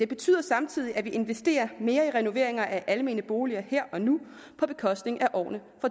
betyder samtidig at vi investerer mere i renoveringer af almene boliger her og nu på bekostning af årene